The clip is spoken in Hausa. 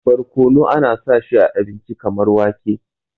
barkono ana sa shi a abinci kamar wake